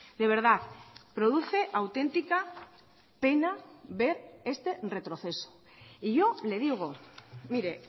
de verdad produce auténtica pena ver este retroceso y yo le digo mire